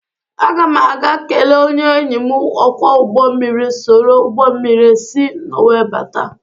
Aga m a ga-kele onye enyi m ọkwọ ụgbọ mmiri soro ụgbọ mmiri si Nọwee bata.